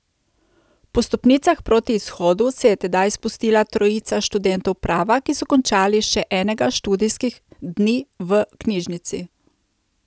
Po stopnicah proti izhodu se je tedaj spustila trojica študentov prava, ki so končali še enega študijskih dni v knjižnici.